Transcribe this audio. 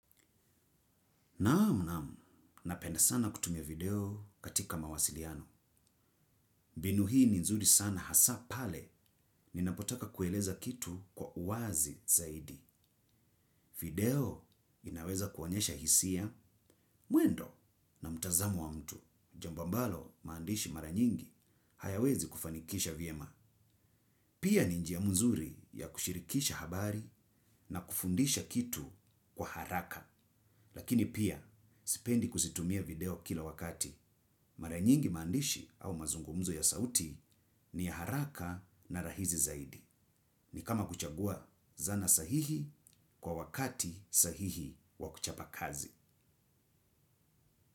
Namu namu, napenda sana kutumia video katika mawasiliano. Mbinu hii ni nzuri sana hasa pale ninapotaka kueleza kitu kwa uazi zaidi. Video inaweza kuonyesha hisia, muendo na mutazamo wa mtu. Jamba ambalo maandishi maranyingi hayawezi kufanikisha vyema. Pia ninjia mzuri ya kushirikisha habari na kufundisha kitu kwa haraka. Lakini pia, sipendi kusitumia video kila wakati. Maranyingi mandishi au mazungumzo ya sauti ni haraka na rahizi zaidi. Ni kama kuchagua zana sahihi kwa wakati sahihi wa kuchapa kazi.